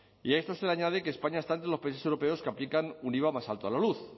y a esto se le añade que españa está entre los países europeos que aplican un iva más alto a la luz